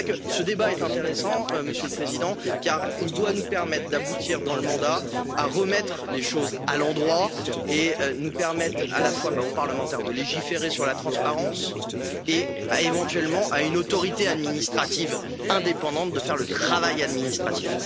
C'est pourquoi ce débat est intéressant, Monsieur le Président, car il doit nous permettre d'aboutir dans le mandat à remettre les choses à l'endroit et permettre aux parlementaires de légiférer sur la transparence et, éventuellement, à une autorité administrative indépendante de faire le travail administratif.